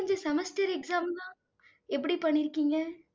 semester exam லாம் எப்படி பண்ணிருக்கீங்க?